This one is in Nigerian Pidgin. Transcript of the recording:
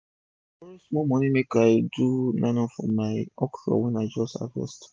i borrow small moni take do nylon for my dry okro wey i just harvest